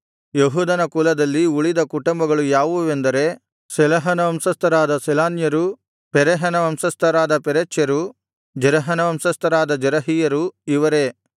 ಯೆಹೂದನ ಕುಲದಲ್ಲಿ ಉಳಿದ ಕುಟುಂಬಗಳು ಯಾವುವೆಂದರೆ ಶೇಲಹನ ವಂಶಸ್ಥರಾದ ಶೇಲಾನ್ಯರು ಪೆರೆಹನ ವಂಶಸ್ಥರಾದ ಪೆರೆಚ್ಯರು ಜೆರಹನ ವಂಶಸ್ಥರಾದ ಜೆರಹಿಯರು ಇವರೇ